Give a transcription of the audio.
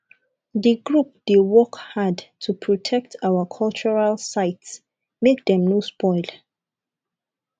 di group dey work hard to protect our cultural sites make dem no spoil